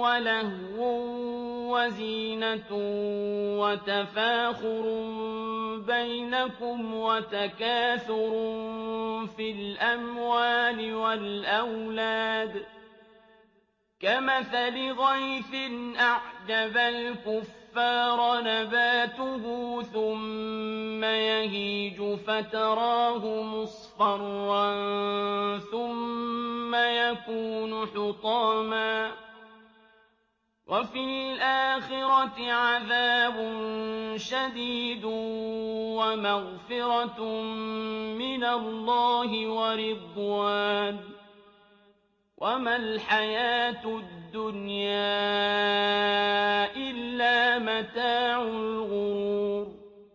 وَلَهْوٌ وَزِينَةٌ وَتَفَاخُرٌ بَيْنَكُمْ وَتَكَاثُرٌ فِي الْأَمْوَالِ وَالْأَوْلَادِ ۖ كَمَثَلِ غَيْثٍ أَعْجَبَ الْكُفَّارَ نَبَاتُهُ ثُمَّ يَهِيجُ فَتَرَاهُ مُصْفَرًّا ثُمَّ يَكُونُ حُطَامًا ۖ وَفِي الْآخِرَةِ عَذَابٌ شَدِيدٌ وَمَغْفِرَةٌ مِّنَ اللَّهِ وَرِضْوَانٌ ۚ وَمَا الْحَيَاةُ الدُّنْيَا إِلَّا مَتَاعُ الْغُرُورِ